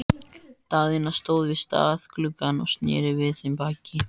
Daðína stóð við stafngluggann og sneri við þeim baki.